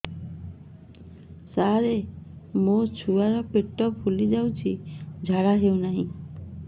ସାର ମୋ ଛୁଆ ପେଟ ଫୁଲି ଯାଉଛି ଝାଡ଼ା ହେଉନାହିଁ